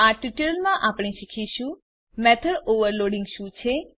આ ટ્યુટોરીયલમાં આપણે શીખીશું મેથોડ ઓવરલોડિંગ શું છે